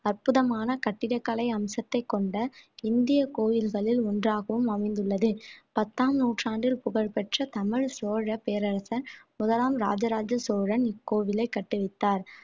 அற்புதமான கட்டிடக்கலை அம்சத்தைக் கொண்ட இந்திய கோயில்களில் ஒன்றாகவும் அமைந்துள்ளது பத்தாம் நூற்றாண்டில் புகழ்பெற்ற தமிழ் சோழ பேரரசன் முதலாம் இராஜராஜ சோழன் இக்கோவிலை கட்டுவித்தார்